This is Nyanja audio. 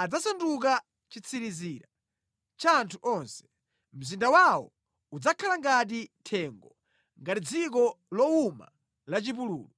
adzasanduka chitsirizira cha anthu onse. Mzinda wawo udzakhala ngati thengo, ngati dziko lowuma lachipululu.